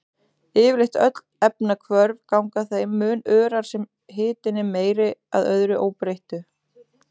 Yfirleitt öll efnahvörf ganga þeim mun örar sem hitinn er meiri, að öðru óbreyttu.